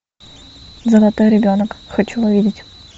золотой ребенок хочу увидеть